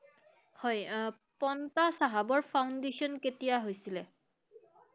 হয়, আহ পন্তাৰ চাহাবৰ Foundation কেতিয়া হৈছিলে?